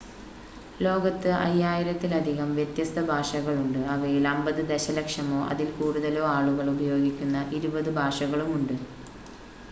ലോകത്ത് 5,000 ലധികം വ്യത്യസ്ത ഭാഷകളുണ്ട് അവയിൽ 50 ദശലക്ഷമോ അതിൽ കൂടുതലോ ആളുകൾ ഉപയോഗിക്കുന്ന ഇരുപത് ഭാഷകളുമുണ്ട്